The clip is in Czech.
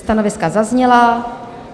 Stanoviska zazněla.